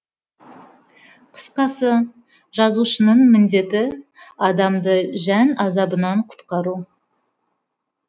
қысқасы жазушының міндеті адамды жан азабынан құтқару